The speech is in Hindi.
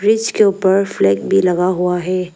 ब्रिज के ऊपर फ्लैग भी लगा हुआ है।